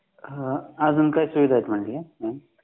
अजून काय सुविधा आहेत म्हणजे